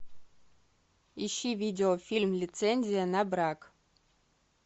ищи видеофильм лицензия на брак